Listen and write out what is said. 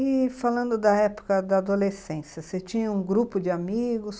E falando da época da adolescência, você tinha um grupo de amigos?